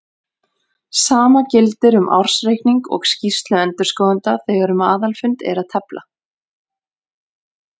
Sama gildir um ársreikning og skýrslu endurskoðenda þegar um aðalfund er að tefla.